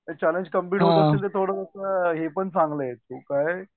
ते challenge computer थोडस हे पण चांगलं आहे तो काय